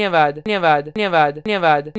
धन्यवाद